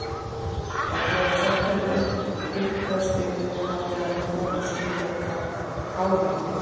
En þegar svefninn aumkaðist yfir mig hafði hann í för með sér nýjar kárínur.